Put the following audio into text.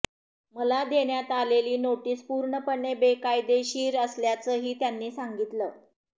मला देण्यात आलेली नोटीस पूर्णपणे बेकायदेशीर असल्याचंही त्यांनी सांगितलं